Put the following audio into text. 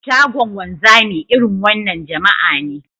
Shagon wanzami, irin wannan jama'a ne